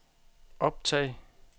optag